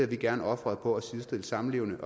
vi gerne ofret på at sidestille samlevende